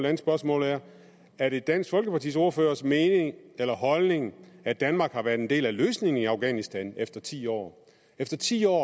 andet spørgsmål er er det dansk folkepartis ordførers mening eller holdning at danmark har været en del af løsningen i afghanistan efter ti år efter ti år